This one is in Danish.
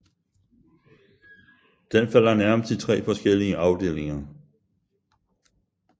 Den falder nærmest i tre forskellige afdelinger